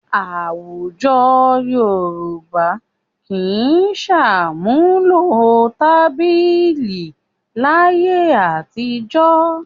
Àwùjọ Yorùbá kì í ṣàmúlò tábìlì láyé àtijọ́